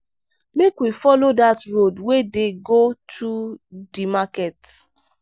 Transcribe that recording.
make we folo dat road wey dey go through di market.